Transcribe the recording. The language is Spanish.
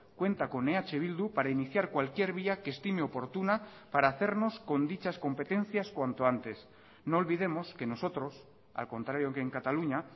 cuenta con eh bildu para iniciar cualquier vía que estime oportuna para hacernos con dichas competencias cuánto antes no olvidemos que nosotros al contrario que en cataluña